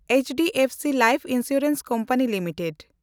HDFC life insurance company limited